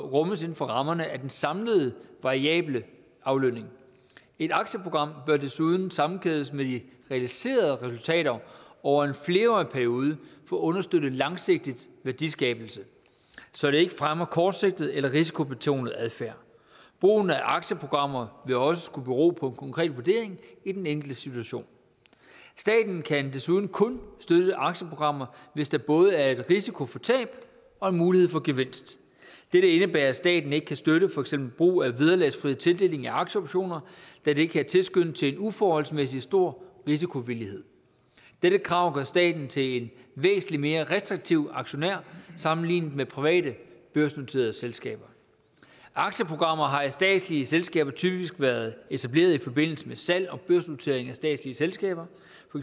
rummes inden for rammerne af den samlede variable aflønning et aktieprogram bør desuden sammenkædes med de realiserede resultater over en flerårig periode for at understøtte langsigtet værdiskabelse så det ikke fremmer kortsigtet eller risikobetonet adfærd brugen af aktieprogrammer vil også skulle bero på en konkret vurdering i den enkelte situation staten kan desuden kun støtte aktieprogrammer hvis der både er en risiko for tab og en mulighed for gevinst dette indebærer at staten ikke kan støtte for eksempel brug af vederlagsfri tildeling af aktieoptioner da det kan tilskynde til en uforholdsmæssig stor risikovillighed dette krav gør staten til en væsentlig mere restriktiv aktionær sammenlignet med private børsnoterede selskaber aktieprogrammer har i statslige selskaber typisk været etableret i forbindelse med salg og børsnotering af statslige selskaber